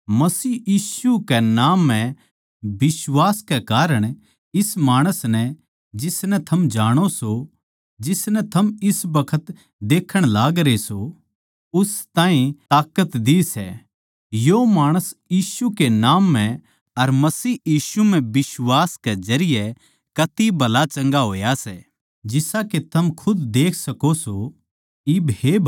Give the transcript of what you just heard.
मसीह यीशु कै नाम म्ह बिश्वास कै कारण इस माणस नै जिसनै थम जाणो सों जिसनै थम इस बखत देक्खण लागरे सों उस ताहीं ताकत दी सै यो माणस यीशु के नाम म्ह अर मसीह यीशु म्ह बिश्वास के जरिये कती भला चंगा होया सै जिसा के थम खुद देख सको सों